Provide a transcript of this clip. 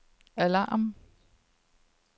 alarm